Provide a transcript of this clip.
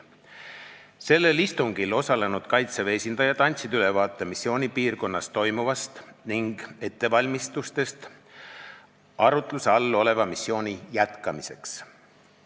Sellel istungil osalenud Kaitseväe esindajad andsid ülevaate missioonipiirkonnas toimuvast ning ettevalmistustest arutluse all oleva missiooni jätkamiseks.